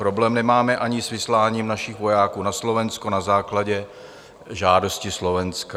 Problém nemáme ani s vysláním našich vojáků na Slovensko na základě žádosti Slovenska.